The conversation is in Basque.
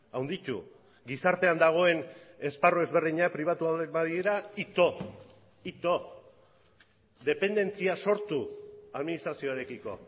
handitu gizartean dagoen esparru ezberdina pribatuak badira ito dependentzia sortu administrazioarekiko